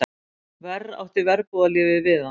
Verr átti verbúðarlífið við hann.